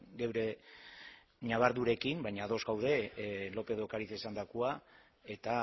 geure ñabardurekin baina ados gaude lópez de ocariz esandakoa eta